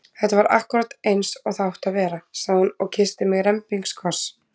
Þetta var akkúrat eins og það átti að vera! sagði hún og kyssti mig rembingskoss.